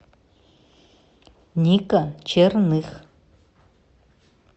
ника черных